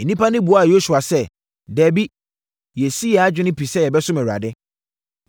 Nnipa no buaa Yosua sɛ, “Dabi, yɛasi yɛn adwene pi sɛ yɛbɛsom Awurade.”